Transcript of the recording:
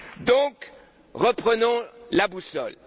Donc, reprenons la boussole.